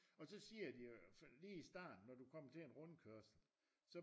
Og så siger de øh sådan lige i starten når du kommer til en rundkørsel så